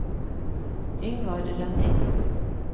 Yngvar Rønning